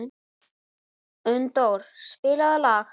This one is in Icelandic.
Unndór, spilaðu lag.